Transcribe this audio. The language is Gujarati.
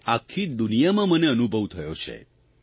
અને આખી દુનિયામાં મને અનુભવ થયો છે